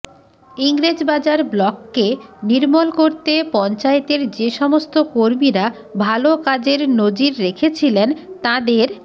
ইংরেজবাজার ব্লককে নির্মল করতে পঞ্চায়েতের যে সমস্ত কর্মীরা ভালো কাজের নজির রেখেছিলেন তাঁদের